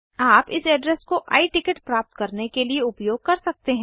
आप इस एड्रेस को आई टिकट प्राप्त करने के लिए उपयोग कर सकते हैं